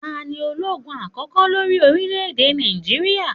6.Ta ní ológun àkókò lórí orílẹ̀ èdè Nàìjíríà?